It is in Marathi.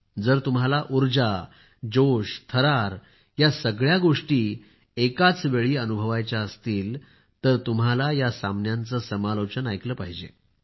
जर तुम्हाला उर्जा जोश थरार या सगळ्या गोष्टी एकाचवेळी अनुभवायच्या असतील तर तुम्हाला या सामन्यांचे समालोचन ऐकले पाहिजे